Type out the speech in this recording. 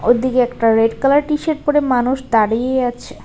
ওপরদিকে একটা red colour T shirt মানুষ দাঁড়িয়ে আছে।